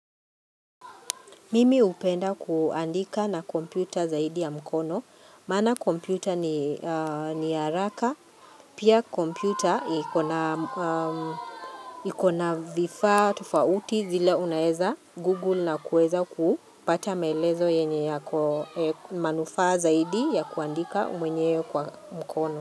Mimi hupenda kuandika na kompyuta zaidi ya mkono, maana kompyuta ni haraka, pia kompyuta ikona vifaa tofauti zile unaeza Google na kuweza kupata maelezo yenye yako manufaa zaidi ya kuandika mwenyewe kwa mkono.